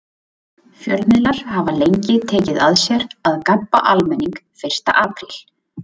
Fjölmiðlar hafa lengi tekið að sér að gabba almenning fyrsta apríl.